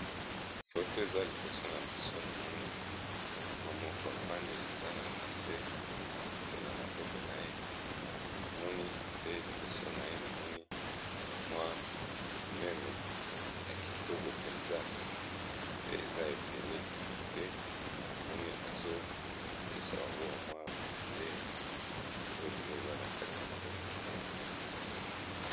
Photo eza liboso na biso namoni mama moko avandi aza na base ya moke na maboko na ye namoni pe liboso na ye namoni bamwa meme ya kitoko mpenza pe eza ebele pe namoni azopesa bango bamwa bilei oyo bilei eza na kati ya maboko na ye.